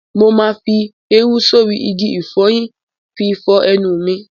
Mo ma fi érú sórí igi ìfọyín fi fọ ẹnu mi.